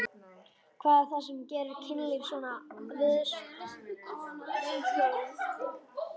Hvað er það sem gerir kynlíf svona viðsjárvert?